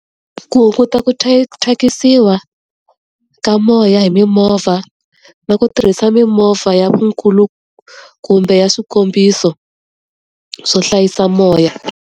Ku hunguta ku ku thyakisiwa ka moya hi mimovha na ku tirhisa mimovha ya kumbe ya swikombiso swo hlayisa moya.